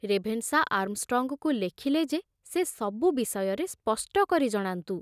Ravenshaw ଆର୍ମଷ୍ଟଙ୍ଗଙ୍କୁ ଲେଖିଲେ ଯେ ସେ ସବୁ ବିଷୟରେ ସ୍ପଷ୍ଟ କରି ଜଣାନ୍ତୁ।